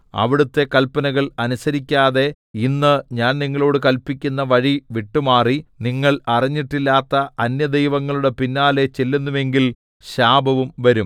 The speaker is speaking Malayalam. അവിടുത്തെ കല്പനകൾ അനുസരിക്കാതെ ഇന്ന് ഞാൻ നിങ്ങളോട് കല്പിക്കുന്ന വഴി വിട്ടുമാറി നിങ്ങൾ അറിഞ്ഞിട്ടില്ലാത്ത അന്യദൈവങ്ങളുടെ പിന്നാലെ ചെല്ലുന്നു എങ്കിൽ ശാപവും വരും